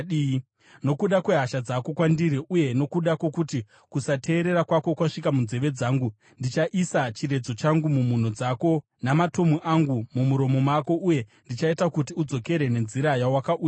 Nokuda kwehasha dzako kwandiri uye nokuda kwokuti kusateerera kwako kwasvika munzeve dzangu, ndichaisa chiredzo changu mumhuno dzako namatomu angu mumuromo mako, uye ndichaita kuti udzokere nenzira yawakauya nayo.